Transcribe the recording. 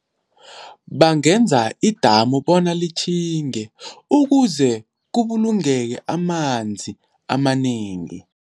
Bangenza idamu bona litjhinge ukuze kubulungeke amanzi amanengi.